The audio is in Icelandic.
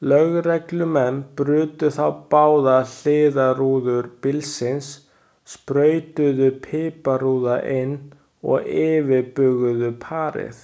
Lögreglumenn brutu þá báðar hliðarrúður bílsins, sprautuðu piparúða inn og yfirbuguðu parið.